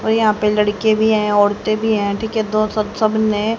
और यहां पे लड़के भी हैं औरतें भी हैं ठीक है दो सब सब ने--